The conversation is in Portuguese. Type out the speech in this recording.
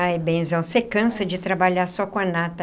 Ai, benzão, você cansa de trabalhar só com a nata.